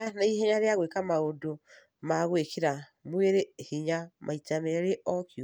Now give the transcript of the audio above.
Gĩa na ihenya rĩa gwĩka maũndũ ma gwĩkĩra mĩĩrĩ hinya maita merĩ o kiumia.